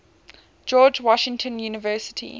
george washington university